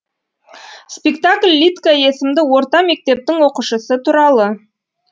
спектакль лидка есімді орта мектептің оқушысы туралы